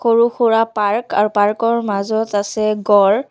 সৰু সুৰা পাৰ্ক আৰু পাৰ্ক ৰ মাজত আছে গঁড়।